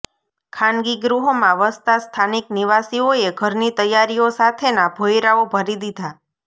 ખાનગી ગૃહોમાં વસતા સ્થાનિક નિવાસીઓએ ઘરની તૈયારીઓ સાથેના ભોંયરાઓ ભરી દીધા